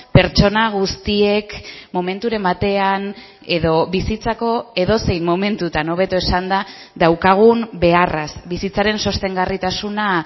pertsona guztiek momenturen batean edo bizitzako edozein momentutan hobeto esanda daukagun beharraz bizitzaren sostengarritasuna